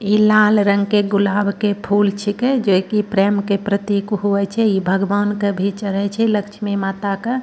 ई लाल रंग के गुलाब के फूल छिके जोय्की प्रेम के प्रतीक हुवे छै ई भगवान क भी चढ़े छै लक्ष्मी माता के।